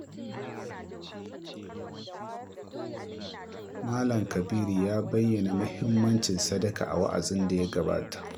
Malam Kabiru ya bayyana muhimmancin sadaka a wa’azin da ya gabata.